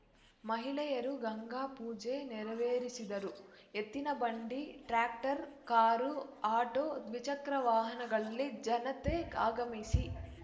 ಮಹಿಳೆಯರು ಗಂಗಾ ಪೂಜೆ ನೆರವೇರಿಸಿದರು ಎತ್ತಿನ ಬಂಡಿ ಟ್ರಾಕ್ಟಾರ್ ಕಾರು ಆಟೋ ದ್ವಿಚಕ್ರವಾಹನಗಳಲ್ಲಿ ಜನತೆ ಆಗಮಿಸಿ